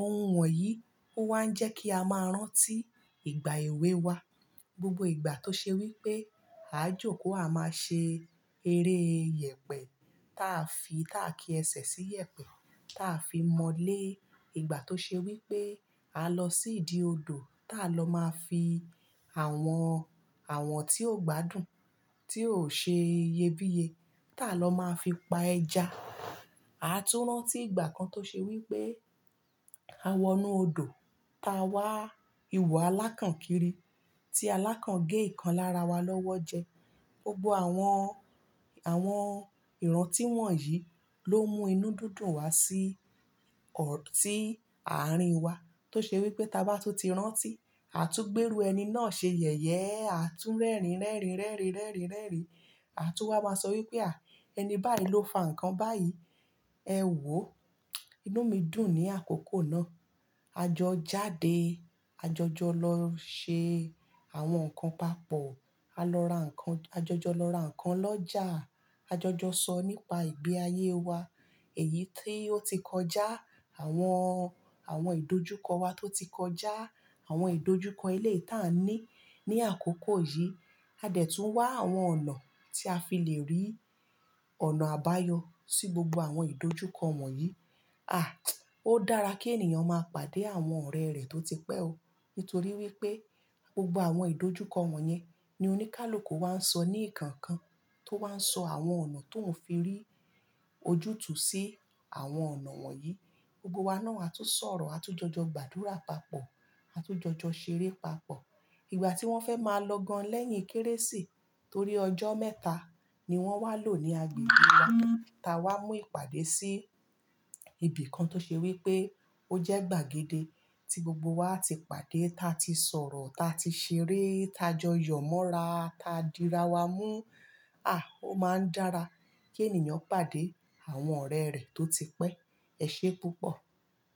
ohun wọ̀nyí ló wá ń jẹ́ kí a máa rántí ìgbà èwe wa. Gbogbo ìgbà tó ṣe wípé a jókòó, a máa ṣe eré iyẹ̀pẹ̀ táa fi, táa kí ẹsẹ̀ sí iyẹ̀pẹ̀, táa fi mọ́lé. Ìgbà tó ṣe wípé a lọ sí ìdí odò, táa lọ máa fi àwọn, àwọn tí ò gbádùn, tí ò ṣe iyebíye, táa lọ máa fi pa ẹja. A tún rántí ìgbà kan tó ṣe wípé a wọnú odò, ta wá ìwọ alákànkiri, tí alákàn gé ìkan lára wa lọ́wọ́ jẹ. Gbogbo àwọn, àwọn ìran tí wọ̀nyí ló mú inú dídùn wá sí ọ̀, sí ààrin wa. Tó ṣe wípé táa bá tún ti rántí, a tún gbérú ẹni náà ṣe yẹ̀yẹ́. A tún rẹ́rìn, rẹ́rìn, rẹ́rìn, rẹ́rìn, rẹ́rìn. A tún wá máa sọ wípé àh! Ẹni báyìí ló fa ǹkan báyìí. Ẹ wò ó, inú mi dùn ní àkókò náà. A jọ jáde, a jọjọ lọ ṣe àwọn nǹkan papọ̀. A lọ ra nǹkan, a jọjọ lọ ra nǹkan lọ́jà. A jọjọ sọ nípa ìgbé ayé wa, èyí tó ti kọjá, àwọn, àwọn ìdojúkọ wa tó ti kọjá, àwọn ìdojúkọ ilé táa ní ní àkókò yìí. A dẹ̀ tún wá àwọn ọ̀nà tí a fi lè rí ọ̀nà àbáyọ sí gbogbo àwọn ìdojúkọ wọ̀nyí. Odara kí ènìyàn ma pàdé àwọn orere ti ó tí pẹ́ o nítorí wípé gbogbo àwọn ìdojúkọ wọ̀nyẹn ni oníkálùkù wá ń sọ ní ìkankan tó wá ń sọ àwọn ọ̀nà tó ń fi rí ojútùú sí àwọn ọ̀nà wọ̀nyí. Gbogbo wa náà a tún sọ̀rọ̀, a tún jọjọ gbàdúrà papọ̀, a tún jọjọ ṣeré papọ̀. Ìgbà tí wọ́n fẹ́ máa lọ gan lẹ́yìn Kérésì, torí ọjọ́ mẹ́ta ni wọ́n wá lò ní agbègbè wa. Ta wá mú ìpàdé sí ibìkan tó ṣe wípé ó jẹ́ gbàgede tí gbogbo wa ti pàdé, ta ti sọ̀rọ̀, ta ti ṣeré, ta jọ yọ̀ mọ́ra, ta di ra wa mú. Àh! Ó máa ń dára kí ènìyàn pàdé àwọn ọ̀rẹ́ rẹ̀ tó ti pẹ́. Ẹ ṣé púpọ̀.